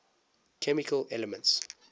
chemical elements